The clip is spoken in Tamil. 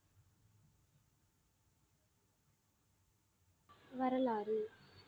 வரலாறு